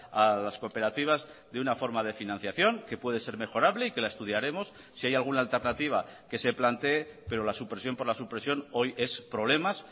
a las cooperativas de una forma de financiación que puede ser mejorable y que la estudiaremos si hay alguna alternativa que se plantee pero la supresión por la supresión hoy es problemas